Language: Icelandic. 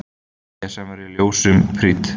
Esjan verður ljósum prýdd